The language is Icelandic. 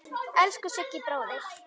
Elsku Siggi bróðir.